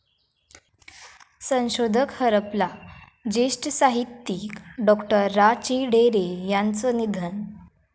संशोधक हरपला, ज्येष्ठ साहित्यिक डॉ.रा.चिं. ढेरे यांचं निधन